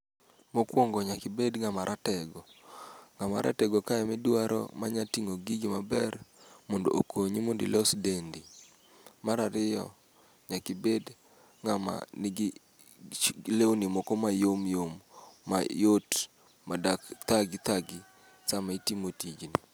Mokuongo nyaka ibed ng'ama ratego. Ng'ama ratego kae ema idwaro manyalo ting'o gigi maber mondo okonyi mondo ilos dendi. Mar ariyo nyaka ibed ng'ama nigi lewni moko ma yomyom. Mayot madak thagi, thagi sama itimo tijni..